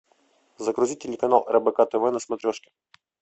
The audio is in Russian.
загрузи телеканал рбк тв на смотрешке